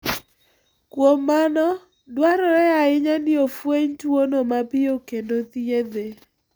Kuom mano, dwarore ahinya ni ofweny tuwono mapiyo kendo thiedhe.